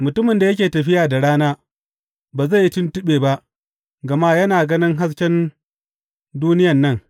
Mutumin da yake tafiya da rana ba zai yi tuntuɓe ba gama yana ganin hasken duniyan nan.